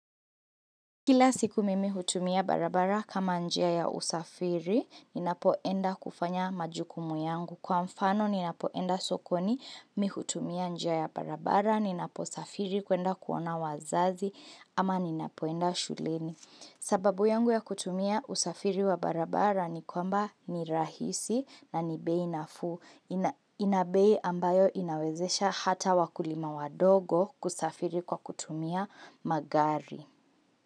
Kila siku mimi hutumia barabara kama njia ya usafiri, ninapoenda kufanya majukumu yangu. Kwa mfano, ninapoenda sokoni, mi hutumia njia ya barabara, ninapo safiri, kuenda kuona wazazi, ama ninapoenda shuleni. Sababu yangu ya kutumia usafiri wa barabara ni kwamba ni rahisi na ni bei nafuu ina Inabei ambayo inawezesha hata wakulima wadogo kusafiri kwa kutumia magari.